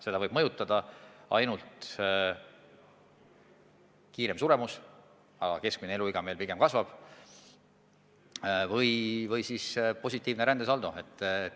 Seda võib mõjutada ainult suurem suremus – aga keskmine eluiga meil pigem kasvab – või siis positiivne rändesaldo.